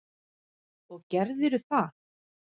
Og gerðirðu það?